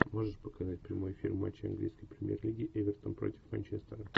можешь показать прямой эфир матча английской премьер лиги эвертон против манчестера